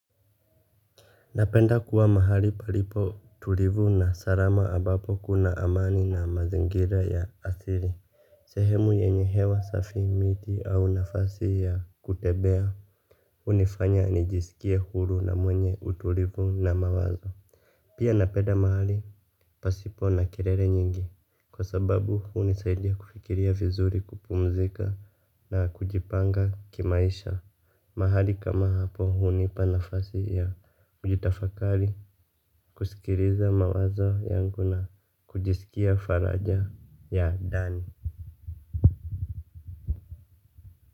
Napenda kuwa mahali palipo tulivu na sarama ambapo kuna amani na mazingira ya asili. Sehemu yenye hewa safi miti au nafasi ya kutebea unifanya nijisikie huru na mwenye utulivu na mawazo. Pia napenda mahali pasipoe na kerele nyingi. Kwa sababu hunisaidia kufikiria vizuri kupumzika na kujipanga kimaisha. Mahali kama hapo hunipa nafasi ya kujitafakari, kusikiriza mawazo yangu na kujisikia faraja ya Dani.